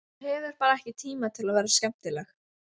Hún hefur bara ekki tíma til að vera skemmtileg.